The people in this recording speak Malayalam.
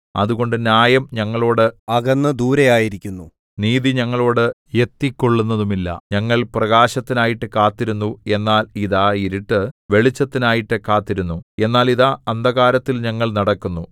അതുകൊണ്ട് ന്യായം ഞങ്ങളോട് അകന്നു ദൂരെയായിരിക്കുന്നു നീതി ഞങ്ങളോട് എത്തിക്കൊള്ളുന്നതുമില്ല ഞങ്ങൾ പ്രകാശത്തിനായിട്ടു കാത്തിരുന്നു എന്നാൽ ഇതാ ഇരുട്ട് വെളിച്ചത്തിനായിട്ടു കാത്തിരുന്നു എന്നാൽ ഇതാ അന്ധകാരത്തിൽ ഞങ്ങൾ നടക്കുന്നു